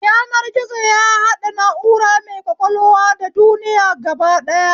Yanar gizo ya haɗe na'ura mai ƙwaƙwalwa da duniya gaba ɗaya